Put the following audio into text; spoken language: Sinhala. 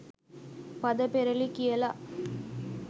පද පෙරළි කියලා.